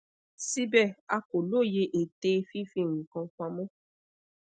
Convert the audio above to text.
síbẹ a kò lóye ète fifi nkan pamo